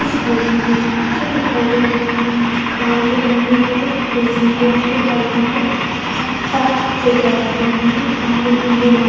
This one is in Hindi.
इस इमेज में मुझे बच्चे दिखाई दे रहे हैं। ग्राउंड दिखाई दे रहा है। रेसिंग कोच दिखाई दे रहा है। जहाँ चार बच्चे दौड़ रहे हैं। तीन ने पीले रंग --